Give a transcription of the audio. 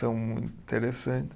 São muito interessantes.